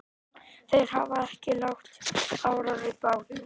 Þeir hafa ekki lagt árar í bát.